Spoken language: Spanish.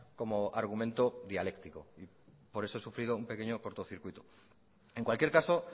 como argumento dialéctico por eso he sufrido un pequeño cortocircuito en cualquier caso